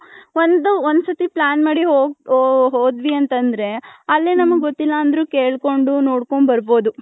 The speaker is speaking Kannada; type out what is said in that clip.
ಒಂದ್ ಒಂದ್ ಸತಿ plan ಮಾಡಿ ಹೋದ್ವಿ ಅಂತಂದ್ರೆ ಅಲ್ಲಿ ನಮ್ಮಗೂ ಗೊತ್ತಿಲ್ಲ ಅಂದ್ರು ಕೇಳ್ಕೊಂಡು ನೋಡ್ಕೊಂಡು ಬರ್ಬೌದು .